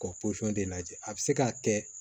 Ka pɔsɔn de lajɛ a bɛ se k'a kɛ